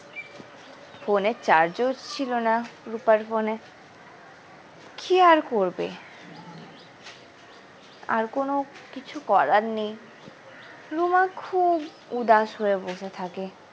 phone এর charge ও ছিল না রুপার phone এ কি আর করবে আর কোনো কিছু করার নেই রুমা খুব ঊদাস হয়ে বসে থাকে।